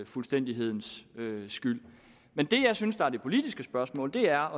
fuldstændighedens skyld men det jeg synes er det politiske spørgsmål er